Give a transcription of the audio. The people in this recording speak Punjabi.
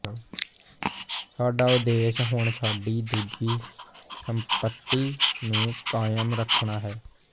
ਸਾਡਾ ਉਦੇਸ਼ ਹੁਣ ਸਾਡੀ ਦੂਜੀ ਸੰਪੱਤੀ ਨੂੰ ਕਾਇਮ ਰੱਖਣਾ ਹੈ